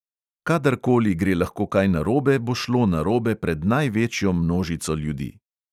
Kadar koli gre lahko kaj narobe, bo šlo narobe pred največjo množico ljudi.